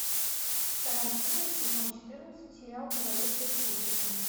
вторая серия сезон четырнадцать сериал говорящая с призраками